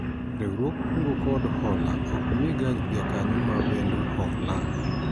Riwruog kungo kod hola ok mii ga jakanyo ma wendo hola